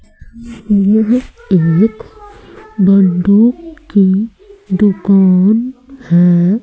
यह एक बंदूक की दुकान है।